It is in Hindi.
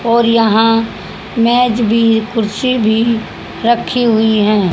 और यहां मेज भी कुर्सी भी रखी हुई हैं।